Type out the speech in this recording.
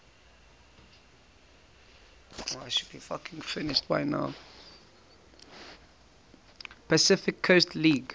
pacific coast league